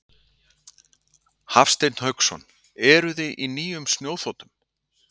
Hafsteinn Hauksson: Eruði á nýjum snjóþotum?